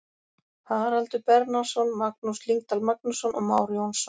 Haraldur Bernharðsson, Magnús Lyngdal Magnússon og Már Jónsson.